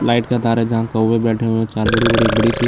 light का तार है जहां कोवे बैठे हुए है चार बड़ी-बड़ी एक बड़ी-सी --